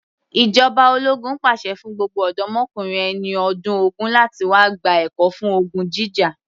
Ìjọba ológun pàṣẹ fún gbogbo ọ̀dọ́mokùnrin ẹni ọdún ogún láti wá gba ẹ̀kọ́ fún ogun jíjà